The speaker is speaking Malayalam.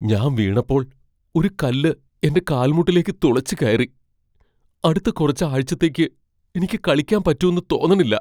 ഞാൻ വീണപ്പോൾ ഒരു കല്ല് എന്റെ കാൽമുട്ടിലേക്ക് തുളച്ച് കയറി. അടുത്ത കുറച്ച് ആഴ്ചത്തേക്ക് എനിക്ക് കളിക്കാൻ പറ്റൂന്ന് തോന്നണില്ല .